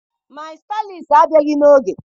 My Stylist abịaghị n'oge.